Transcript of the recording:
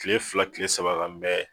Kile fila Kile saba ka